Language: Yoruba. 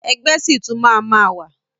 Ẹgbẹ́ ṣì tún máa ma wà.